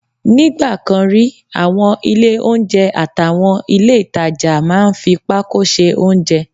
Nígbà kan rí, àwọn ilé oúnjẹ àtàwọn ilé ìtajà máa ń fi pákó ṣe oúnjẹ